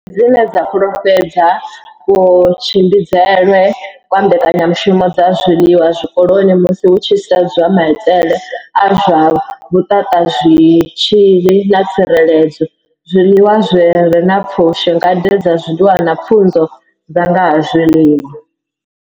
Dzine dza fhululedza kutshimbidzelwe kwa mbekanyamushumo dza zwiḽiwa zwikoloni musi hu tshi sedzwa maitele a zwa vhuthathazwitzhili na tsireledzo, zwiḽiwa zwi re na pfushi, ngade dza zwiḽiwa na pfunzo dza nga ha zwiḽiwa.